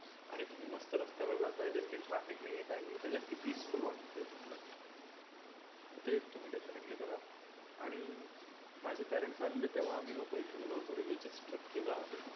आणि तुम्ही मस्त रस्त्यात जाताय traffic नाहीए just peaceful वाटते ते तुम्हाला. ते तुम्ही definitely करा. आणि माझे parents आलेले तेव्हा आम्ही लोक इथे गेलो होतो religious trip केलं आम्ही.